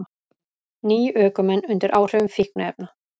Níu ökumenn undir áhrifum fíkniefna